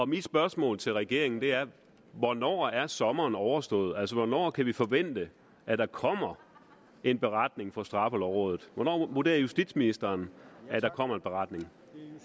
mit spørgsmål til regeringen er hvornår er sommeren overstået altså hvornår kan vi forvente at der kommer en beretning fra straffelovrådet hvornår vurderer justitsministeren at der kommer en beretning